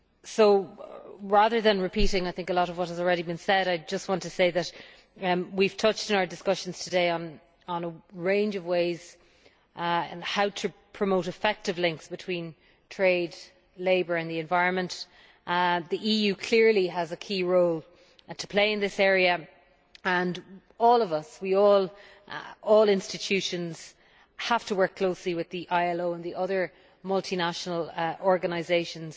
So, rather than repeating what has already been said, I just want to say that we have touched in our discussions today on a range of ways of promoting effective links between trade, labour and the environment. The EU clearly has a key role to play in this area and all of us all the EU institutions have to work closely with the ILO and the other multinational organisations,